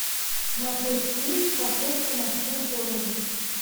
смотреть фильм красотка на всю голову